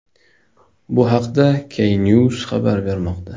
Bu haqda Knews xabar bermoqda .